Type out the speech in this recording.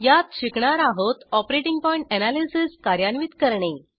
यात शिकणार आहोत ऑपरेटिंग पॉइण्ट एनॅलिसिस कार्यान्वित करणे